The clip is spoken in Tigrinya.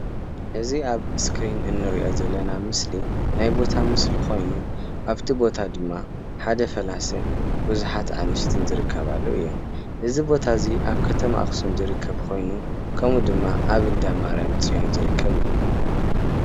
እዚ ኣብ ስክሪን እንሪኦ ዘለና ምስሊ ናይ ቦታ ምስሊ ኾይኑ ኣብቲ ቦታ ድማ ሓደ ፈላሲን ቡዝሓት ኣንስትን ዝርከባሉ እየን:: እዚ ቦታ እዚ ኣብ ከተማ ኣኽሱም ዝርከብ ኾይኑ ከሙኡ ድማ ኣብ እንዳ ማርያም ፅዮን ዝርከብ እዩ::